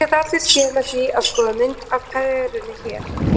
Þetta geta allir séð með því að skoða mynd af perunni hér.